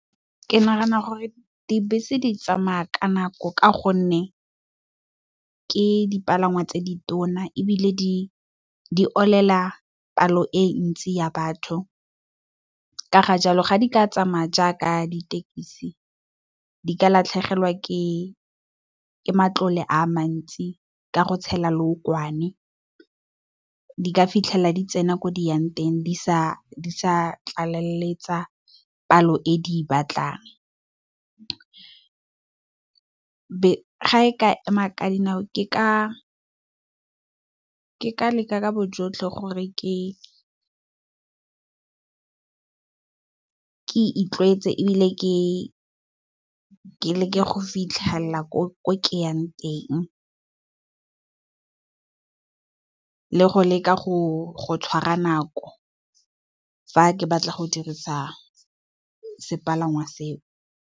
Ke nagana gore dibese di tsamaya ka nako ka gonne ke dipalangwa tse di tona ebile di olela palo e ntsi ya batho ka ga jalo ga di ka tsamaya jaaka ditekisi di ka latlhegelwa ke matlole a mantsi ka go tshela lookwane, di ka fitlhelela di tsena ko di yang teng di sa tlaleletsa palo e di e batlang. Ga e ka ema ka dinao ke ka leka ka bojotlhe gore ke itlwaetse ebile ke leke go fitlhelela ko ke yang teng, le go leka go tshwara nako fa ke batla go dirisa sepalangwa seo.